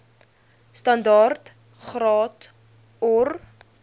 standaard graad or